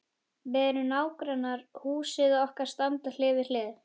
Við erum nágrannar, húsin okkar standa hlið við hlið.